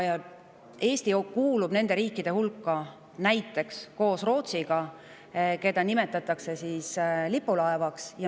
Eesti kuulub nende riikide hulka näiteks koos Rootsiga, keda nimetatakse lipulaevaks.